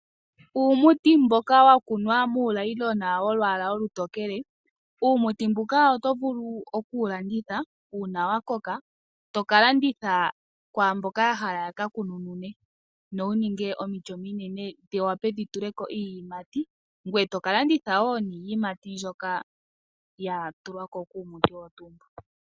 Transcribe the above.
Uumuti mboka wa kunwa muunayilona wo lwala olutokele uumuti mbuka oto vulu okuwu landitha uuna wa koka to ka landitha kwaamboka ya hala ya ka kununune nowu ninge omiti ominene dhi wape dhi ninge tule ko iiyimati ngoye toka landitha wo niiyimati mbyoka ya tulwa ko komiti odho tuu dhoka.